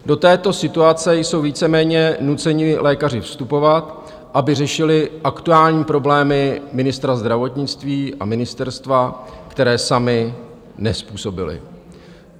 Do této situace jsou víceméně nuceni lékaři vstupovat, aby řešili aktuální problémy ministra zdravotnictví a ministerstva, které sami nezpůsobili.